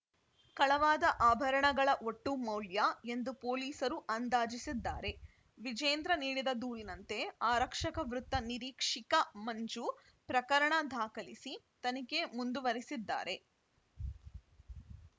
ಕಳವಾದ ಆಭರಣಗಳ ಒಟ್ಟು ಮಾಲ್ಯ ಎಂದು ಪೊಲೀಸರು ಅಂದಾಜಿಸಿದ್ದಾರೆ ವಿಜೇಂದ್ರ ನೀಡಿದ ದೂರಿನಂತೆ ಆರಕ್ಷಕ ವೃತ್ತ ನಿರೀಕ್ಷಿಕ ಮಂಜು ಪ್ರಕರಣ ದಾಖಲಿಸಿ ತನಿಖೆ ಮುಂದುವರಿಸಿದ್ದಾರೆ